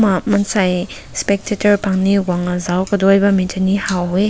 uh mansai specteter pankni güngna zao kadaü bam mai ne haw weh.